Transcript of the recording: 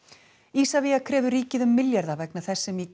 Isavia krefur ríkið um milljarða vegna þess sem í